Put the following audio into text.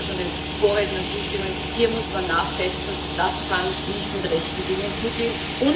Ich würde da schon den Vorrednern zustimmen Hier muss man nachsetzen, das kann nicht mit rechten Dingen zugehen.